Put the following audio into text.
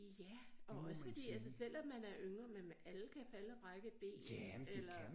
Ja og også fordi altså selvom man er yngre man alle kan falde og brække et ben eller